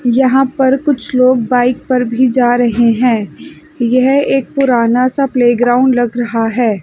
यहां पर कुछ लोग बाइक पर भी जा रहे हैं यह एक पुराना सा प्लेग्राउंड लग रहा है।